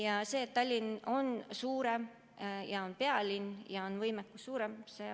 Jah, Tallinn on suurem, on pealinn ja tal on kahtlemata võimekus suurem.